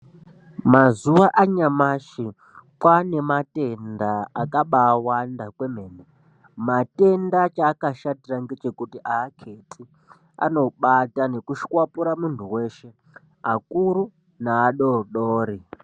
Mazuva anyamashi kwane matenda akabawanda kwemene matenda chakashatira ngechekuti aketi anobata nekushwapura mundu weshe akuru neadodori